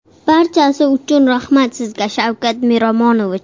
Barchasi uchun rahmat sizga, Shavkat Miromonovich!